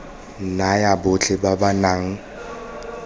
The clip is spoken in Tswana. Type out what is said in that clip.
naya botlhe ba ba nang